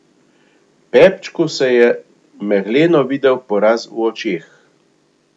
Pepčku se je megleno videl poraz v očeh.